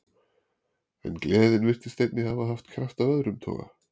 En gleðin virtist einnig hafa haft kraft af öðrum toga.